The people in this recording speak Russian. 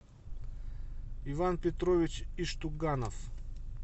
иван петрович иштуганов